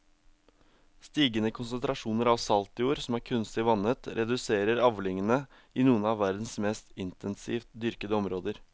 Stigende konsentrasjoner av salt i jord som er kunstig vannet reduserer avlingene i noen av verdens mest intensivt dyrkede områder.